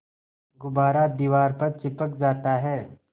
गुब्बारा दीवार पर चिपक जाता है